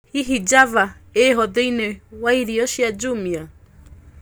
hĩhĩ java iho thĩĩni waĩrĩo cĩa jumia